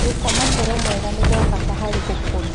Gũkoma toro mwega nĩ kwa bata harĩ gũkũra